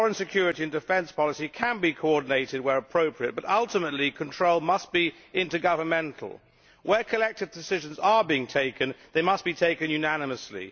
Foreign, security and defence policy can be coordinated, where appropriate, but ultimately, control must be intergovernmental. Where collective decisions are being taken, they must be taken unanimously.